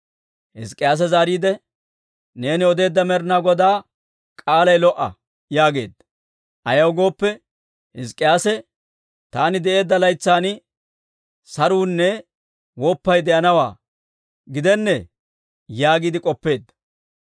Hizk'k'iyaase zaariide, «Neeni odeedda Med'ina Godaa k'aalay lo"a» yaageedda. Ayaw gooppe, Hizk'k'iyaase, «Taani de'eedda laytsan saruunne woppay de'anawaa gidennee» yaagiide k'oppeedda.